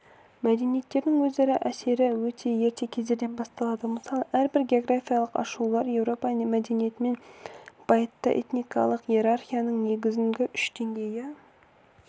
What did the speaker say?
мәдениеттердің өзара әсері өте ерте кездерден басталды мысалы әрбір географиялық ашылулар еуропа мәдениетін байытты этникалық иерархияның негізгі үш деңгейі